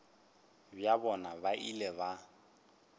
bja bona ba ile ba